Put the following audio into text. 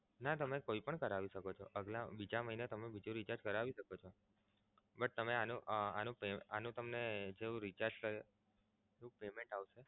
ના તમે કોઈ પણ કરાવી શકો છો બીજા મહિને તમે બીજુ recharge કરાવી શકો છો. તમે આનું આનું તમને જેવુ recharge કરાવો payment આવશે.